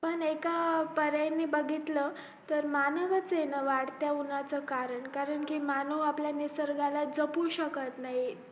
पण एक पर्यायी बघितलं तर मानवच ना वाढत्या उन्हाचा कारण कारण कि मानव आपल्या निसर्गाला जपू शकत नाही